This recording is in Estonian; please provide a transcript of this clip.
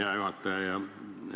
Hea juhataja!